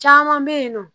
Caman bɛ yen nɔ